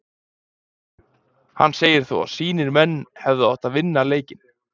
Hann segir þó að sínir menn hefðu átt að vinna leikinn.